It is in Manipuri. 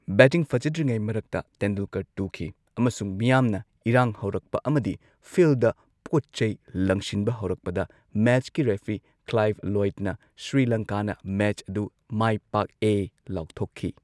ꯕꯦꯇꯤꯡ ꯐꯖꯗ꯭ꯔꯤꯉꯩ ꯃꯔꯛꯇ ꯇꯦꯟꯗꯨꯜꯀꯔ ꯇꯨꯈꯤ ꯑꯃꯁꯨꯡ ꯃꯤꯌꯥꯝꯅ ꯏꯔꯥꯡ ꯍꯧꯔꯛꯄ ꯑꯃꯗꯤ ꯐꯤꯜꯗ ꯄꯣꯠ ꯆꯩ ꯂꯪꯁꯤꯟꯕ ꯍꯧꯔꯛꯄꯗ ꯃꯦꯆꯀꯤ ꯔꯦꯐ꯭ꯔꯤ ꯀ꯭ꯂꯥꯏꯚ ꯂꯣꯢ꯭ꯗꯅ ꯁ꯭ꯔꯤꯂꯪꯀꯥꯅ ꯃꯦꯆ ꯑꯗꯨ ꯃꯥꯢꯄꯥꯛꯑꯦ ꯂꯥꯎꯊꯣꯛꯈꯤ꯫